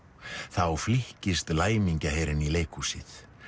þá flykkist í leikhúsið